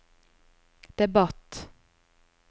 debatt